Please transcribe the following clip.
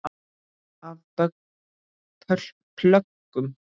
Af plöggum